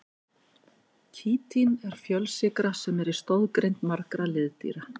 Kítín er fjölsykra sem er í stoðgrind margra liðdýra.